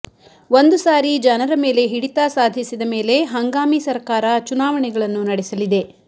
ಒಂದು ಸಾರಿ ಜನರ ಮೇಲೆ ಹಿಡಿತ ಸಾಧಿಸಿದ ಮೇಲೆ ಹಂಗಾಮಿ ಸರಕಾರ ಚುನಾವಣೆಗಳನ್ನು ನಡೆಸಲಿದೆ